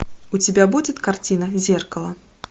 у тебя будет картина зеркало